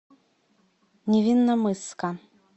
невинномысска